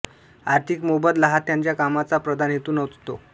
आर्थिक मोबदला हा त्यांच्या कामाचा प्रधान हेतू नसतो